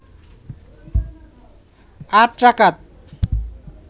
৮ রাকাত